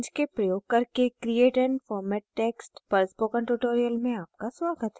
inkscape प्रयोग करके create and format text पर spoken tutorial में आपका स्वागत है